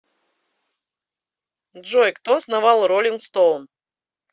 джой кто основал ролинг стоун